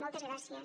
moltes gràcies